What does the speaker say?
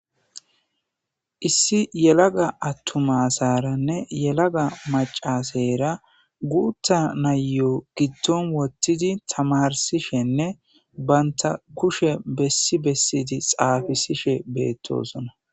Issi yelaga attuma asaaranne yelaga macca aseera guutta nayyo giddon wottidi tamarsishenne banta kushe bessi bessidi xaafisishe beettosona.